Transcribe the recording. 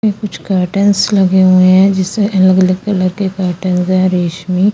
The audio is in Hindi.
ये कुछ गटलस लगे हुए है जिसे अलग अलग तरह के पेट्न्स है रेशमी--